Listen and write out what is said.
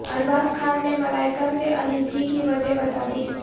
ارباز خان نے ملائیکا سے علیحدگی کی وجہ بتادی